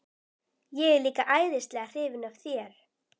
Ég er líka æðislega hrifin af þér.